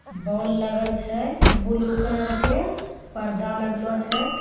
Bowl लागल छे blue colour के पर्दा लगलो छे।